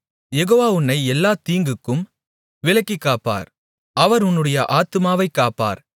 யெகோவா உன்னை எல்லாத் தீங்குக்கும் விலக்கிக் காப்பார் அவர் உன்னுடைய ஆத்துமாவைக் காப்பார்